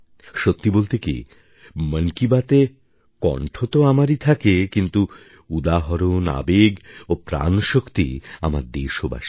সত্যি বলতে কি মন কি বাতএ কণ্ঠ তো আমারই থাকে কিন্তু উদাহরণ আবেগ ও প্রাণশক্তি আমার দেশবাসীর